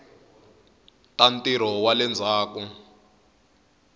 ta ntirho wa le ndzhaku